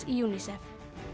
UNICEF